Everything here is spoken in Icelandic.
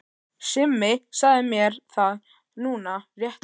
Simmi sagði mér það núna rétt áðan.